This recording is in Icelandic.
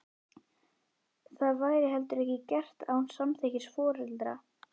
Það væri heldur ekki gert án samþykkis foreldra.